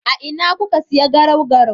A ina kuka siya garau-garau?